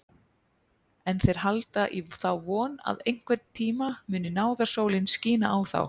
En þeir halda í þá von að einhverntíma muni náðarsólin skína á þá.